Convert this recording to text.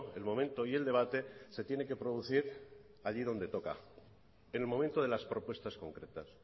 el momento y el debate se tiene que producir allí donde toca en el momento de las propuestas concretas